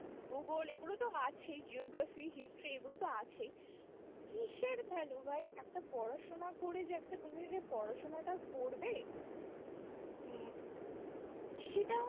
ভূগোল এগুলো তো আছেই geoegraphy, history এগুলো তো আছেই কিসের value ভাই একটা পড়াশোনা করে যে একটা তুমিও যে পড়াশোনাটা করবে হম সেটা